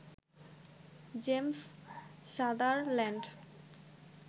James Sutherland